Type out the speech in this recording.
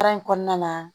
Baara in kɔnɔna na